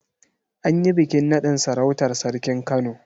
An yi bikin naɗin sarautar sarkin Kano.